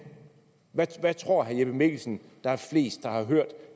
hvad tror herre jeppe mikkelsen der er flest der har hørt